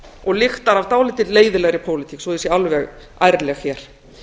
og lyktar af dálítið leiðinlegri pólitík svo ég sé alveg ærleg hér